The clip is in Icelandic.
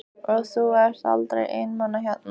Og þú ert aldrei einmana hérna?